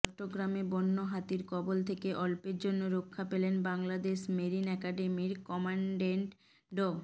চট্টগ্রামে বন্যহাতির কবল থেকে অল্পের জন্য রক্ষা পেলেন বাংলাদেশ মেরিন একাডেমির কমান্ডেন্ট ড